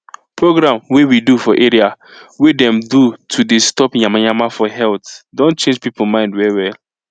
program wey we do for area wey dem do to deh stop yamayama for health don change people mind well well